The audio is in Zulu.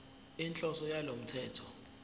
inhloso yalo mthetho